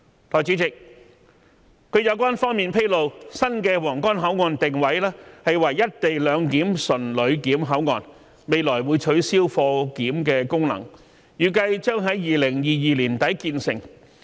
代理主席，據有關方面披露，新的皇崗口岸會定位為"一地兩檢"純旅檢口岸，未來會取消貨檢功能，預計將於2022年年底建成。